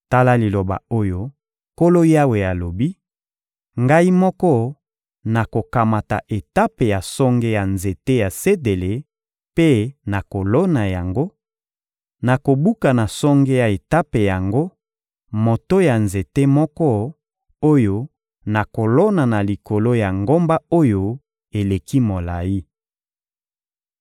Tala liloba oyo Nkolo Yawe alobi: Ngai moko nakokamata etape ya songe ya nzete ya sedele mpe nakolona yango; nakobuka na songe ya etape yango moto ya nzete moko, oyo nakolona na likolo ya ngomba oyo eleki molayi.